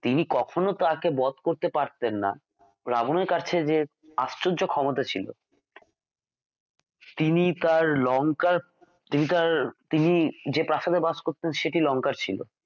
তিনি কখনও তাঁকে বধ করতে পারতেন না রাবন এর কাছে যে আশ্চর্য ক্ষমতা ছিল তিনি তাঁর লঙ্কার তিনি তাঁর তিনি যে প্রাসাদে বাস করতেন সেটি লঙ্কা ছিল